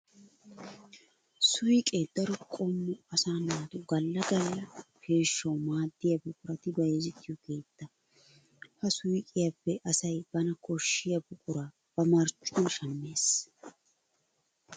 Suyqqe daro qommo asaa naatu gala gala peeshshawu maadiya buquratti bayzzettiyo keetta. Ha suyqqiyappe asay bana koshiya buqura ba marccuwan shamees.